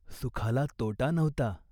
सुखाला तोटा नव्हता.